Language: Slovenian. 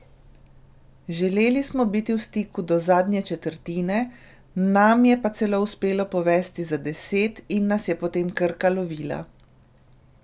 Želeli smo biti v stiku do zadnje četrtine, nam je pa celo uspelo povesti za deset in nas je potem Krka lovila.